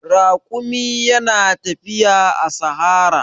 Raƙumi yana tafiya a sahara.